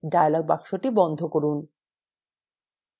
dialog box বন্ধ করুন